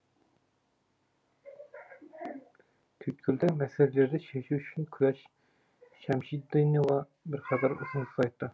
түйткілді мәселелерді шешу үшін күләш шәмшидинова бірқатар ұсыныс айтты